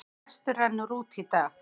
Frestur rennur út í dag.